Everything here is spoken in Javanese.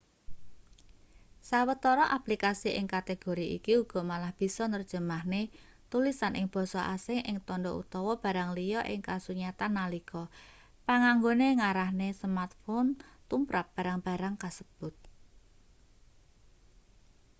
sawetara aplikasi ing kategori iki uga malah bisa nerjemahne tulisan ing basa asing ing tandha utawa barang liya ing kasunyatan nalika panganggone ngarahne smartphone tumrap barang-barang kasebut